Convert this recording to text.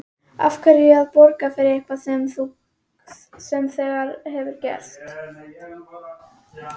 Af hverju að borga fyrir eitthvað sem þegar hefur gerst?